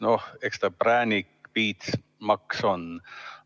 No eks ta präänik-piits-maks ole.